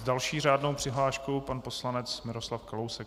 S další řádnou přihláškou pan poslanec Miroslav Kalousek.